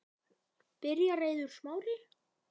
Byrjar Eiður Smári?